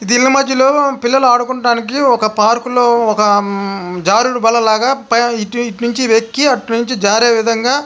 దీని మధ్యలో పిల్లలు ఆడుకుంటానికి ఒక పార్క్ లో ఒక జారుడు బల్లలాగా పైన ఇటు_ఇటు నుంచి వెక్కి ఆట నుంచి జారే విధంగా --